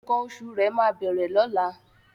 Nkan òṣù̀ rẹ máa bẹ̀rẹ̀ lọla